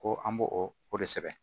Ko an b'o o de sɛbɛn